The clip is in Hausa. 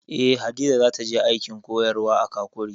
Eh, Hadiza za ta je aikin koyarwa a Kakuri